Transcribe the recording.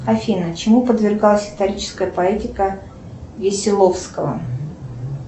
афина чему подвергалась историческая поэтика веселовского